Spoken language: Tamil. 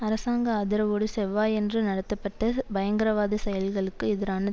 அரசாங்க ஆதரவோடு செவ்வாயன்று நடத்தப்பட்ட பயங்கரவாத செயல்களுக்கு எதிரான